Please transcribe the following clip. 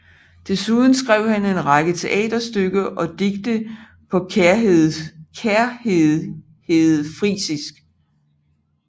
Dessuden skrev han en række teaterstykker og digte på Kærherredfrisisk